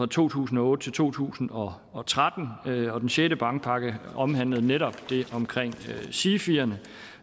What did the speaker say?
to tusind og otte til to tusind og og tretten og den sjette bankpakke omhandlede netop det omkring sifierne